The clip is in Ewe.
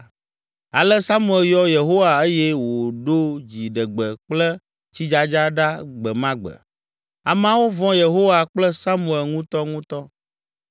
Ale Samuel yɔ Yehowa eye wòɖo dziɖegbe kple tsidzadza ɖa gbe ma gbe. Ameawo vɔ̃ Yehowa kple Samuel ŋutɔŋutɔ.